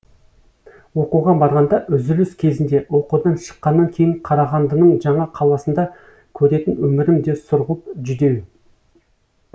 оқуға барғанда үзіліс кезінде оқудан шыққаннан кейін қарағандының жаңа қаласында көретін өмірім де сұрғылт жүдеу